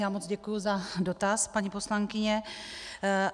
Já moc děkuji za dotaz, paní poslankyně.